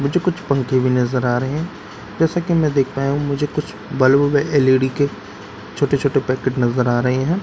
मुझे कुछ पंखे भी नजर आ रहे हैं जैसा कि मैं देख रहा हूं मुझे कुछ बल्ब एल_ई_डी के छोटे छोटे पैकेट नजर आ रहे हैं।